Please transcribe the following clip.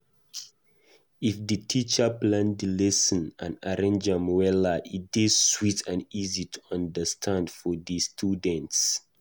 If di teacher plan di lesson and arrange am wella, e dey sweet and easy to understand for di students.